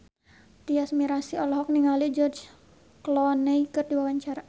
Tyas Mirasih olohok ningali George Clooney keur diwawancara